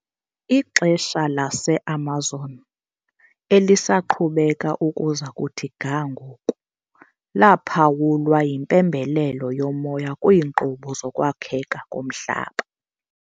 Ixesha laseAmazon, elisaqhubeka ukuza kuthi ga ngoku, laphawulwa yimpembelelo yomoya kwiinkqubo zokwakheka komhlaba .